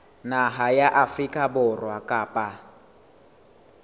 naha ya afrika borwa kapa